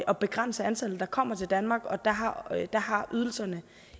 at begrænse antallet der kommer til danmark og der har ydelserne